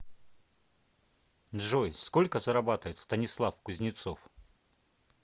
джой сколько зарабатывает станислав кузнецов